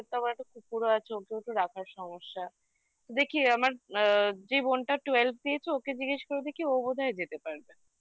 হ্যাঁ ওদেরকেও বলব ওরা তো এই কদিন আগে বলছিল যে ওরা এই Ladakh এর দিকে যাবে কিন্তু আবার ওরা ticket ও cancel করলো বলল যে ওরা মানে medical checkup এ আ ওরা fit মানে